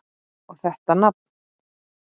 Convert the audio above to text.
Og þetta nafn!